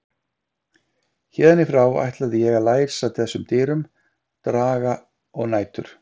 Héðan í frá ætlaði ég að læsa þessum dyrum, daga og nætur.